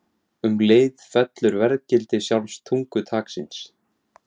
Um leið fellur verðgildi sjálfs tungutaksins